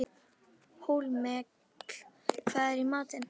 Hólmkell, hvað er í matinn?